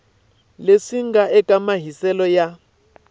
leswi nga eka mahiselo ya